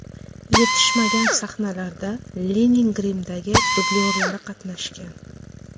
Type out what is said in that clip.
Yetishmagan sahnalarda Lining grimdagi dublyorlari qatnashgan.